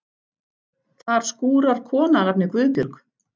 Þar skúrar kona að nafni Guðbjörg.